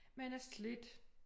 Men er slidt